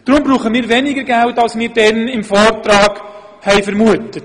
Deshalb brauchen wir weniger Geld, als wir anlässlich des Vortrags vermuteten.